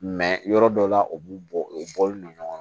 yɔrɔ dɔ la u b'u bɔ u bɔlen don ɲɔgɔn na